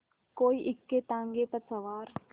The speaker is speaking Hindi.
कोई इक्केताँगे पर सवार